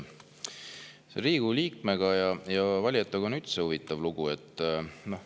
Riigikogu liikmete ja valijatega on üldse huvitav lugu.